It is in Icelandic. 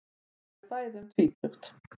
Þau eru bæði um tvítugt.